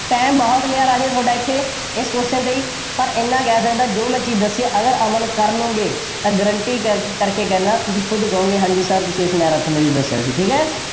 time ਬਹੁਤ ਲਿਆ ਰਾਜੇ ਤੁਹਾਡਾ ਇੱਥੇ, ਇਸ question ਤੇ ਹੀ, ਪਰ ਐਨਾ ਕਹਿ ਸਕਦਾ, ਜੋ ਮੈਂ ਚੀਜ਼ ਦੱਸੀ ਹੈ, ਅਗਰ ਅਮਲ ਕਰ ਲਉਗੇ, ਤਾਂ guarantee ਕ ਕਰਕੇ ਕਹਿੰਦਾ, ਤੁਸੀਂ ਖੁਦ ਕਹੋਂਗੇ, ਹਾਂ ਜੀ sir ਤੁਸੀ ਇਸ ਹੀ ਦੱਸਿਆ ਸੀ, ਠੀਕ ਹੈ,